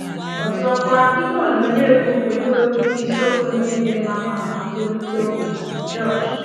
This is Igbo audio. Ọzọkwa, ihe onyonyo egwu pụrụ iwepụta isiokwu ndị dị mma maka nkwurịta okwu.” — Josh.